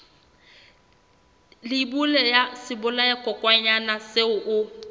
leibole ya sebolayakokwanyana seo o